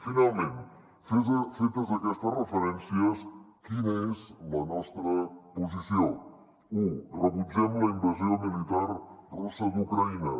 finalment fetes aquestes referències quina és la nostra posició u rebutgem la invasió militar russa d’ucraïna